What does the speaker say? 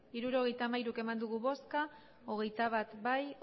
hirurogeita hamairu eman dugu bozka hogeita bat bai